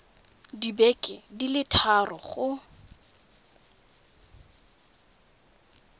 dibeke di le thataro go